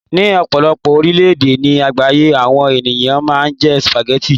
ní ọpọlọpọ orilẹ ede ni àgbáyé àwọn ènìyàn ma n je spaghetti